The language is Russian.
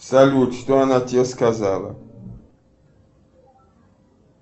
салют что она тебе сказала